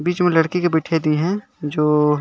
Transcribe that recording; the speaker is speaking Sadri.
बीच में लड़की के बइठाई दीन है जो --